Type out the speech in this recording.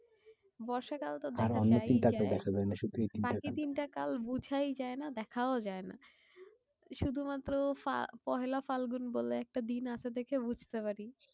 বর্ষাকাল তো দেখা যাই যায়। বাকি তিনটা কাল বুঝাই যায় না দেখাও যায়না। শুধু মাত্র ফা পয়লা ফাল্গুন বলে একটা দিন আছে দেখে বুঝতে পারি।